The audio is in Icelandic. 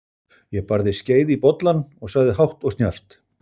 Ég barði skeið í bollann og sagði hátt og snjallt